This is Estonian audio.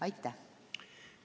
Aitäh!